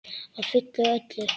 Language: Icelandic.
Að fullu og öllu.